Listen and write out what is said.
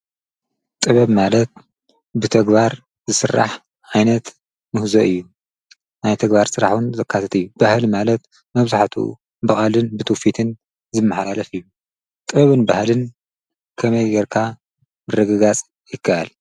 ጥበብ ማለት ብተግባር ዝሥራሕ ዓይነት ምሕዞ እዩ ናይ ተግባር ሥራሕን ዘካሰት እዩ ባህሊ ማለት መብዙኃቱ በቓልን ብትዉፊትን ዝመዕላለፍ እዩ ጥበብን በህልን ከመይ ጌርካ ረግጋጽ ይከኣል?